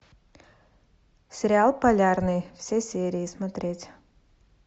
сериал полярный все серии смотреть